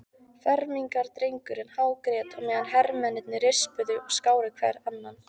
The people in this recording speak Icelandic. Fermingardrengurinn hágrét á meðan hermennirnir rispuðu og skáru hver annan.